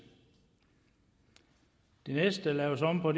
det næste der laves om på